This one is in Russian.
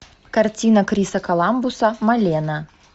картина криса коламбуса малена